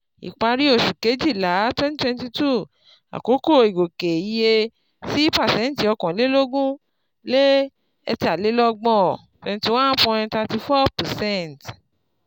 Ìparí oṣù Kejìlá twenty twenty two, àkókò ìgòkè iye sí pàṣẹ́ntì ọ̀kànlélógún le ẹ̀tàlélọ̀gbọ̀n twenty one point thirty four percent